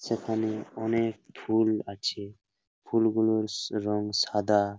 সেখানে অনেক ফুল আছে। ফুলগুলোর স রং সাদা।